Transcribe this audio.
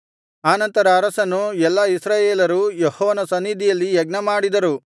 ಆನಂತರ ಅರಸನೂ ಎಲ್ಲಾ ಇಸ್ರಾಯೇಲರೂ ಯೆಹೋವನ ಸನ್ನಿಧಿಯಲ್ಲಿ ಯಜ್ಞಮಾಡಿದರು